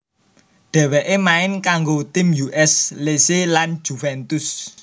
Dheweke main kanggo tim U S Lecce lan Juventus